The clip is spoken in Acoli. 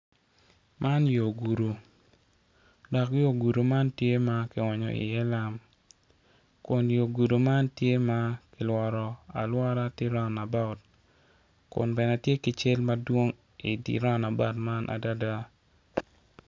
Man yo gudo, dok yo gudo man tye makionyo i ye lam kun yo gudo man tye ma kilworo alwara tye round about kun bene tye ki cel madwong i diround about man adada.